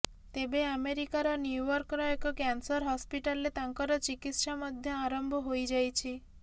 ତେବେ ଆମେରିକାର ନ୍ୟୁୟର୍କର ଏକ କ୍ୟାନସର ହସ୍ପିଟାଲରେ ତାଙ୍କର ଚିକିତ୍ସା ମଧ୍ୟ ଆରମ୍ଭ ହୋଇଯାଇଛି